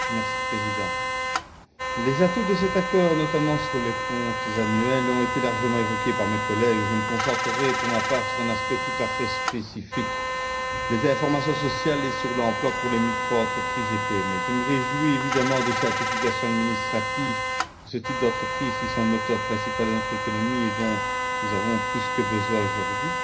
Monsieur le Président, les atouts de cet accord, notamment pour les comptes annuels, ont été largement évoqués par mes collègues, et je me concentrerai pour ma part sur un aspect tout à fait spécifique les informations sociales et les informations sur l'emploi pour les micro entreprises et les PME. Je me réjouis évidemment des simplifications administratives pour ce type d'entreprises, qui sont le moteur principal de notre économie et dont nous avons plus que jamais besoin aujourd'hui.